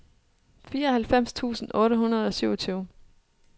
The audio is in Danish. fireoghalvfems tusind otte hundrede og syvogtyve